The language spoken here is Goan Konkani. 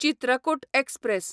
चित्रकूट एक्सप्रॅस